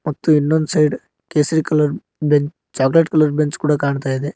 ಮತ್ತು ಇನ್ನೊಂದ್ ಕೇಸರಿ colour bench chocolate colour bench ಕೂಡ ಕಾಣ್ತಾ ಇದೆ.